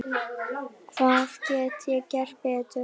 Hvað get ég gert betur?